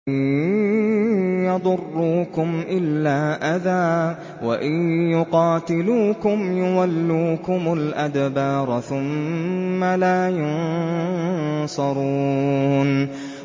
لَن يَضُرُّوكُمْ إِلَّا أَذًى ۖ وَإِن يُقَاتِلُوكُمْ يُوَلُّوكُمُ الْأَدْبَارَ ثُمَّ لَا يُنصَرُونَ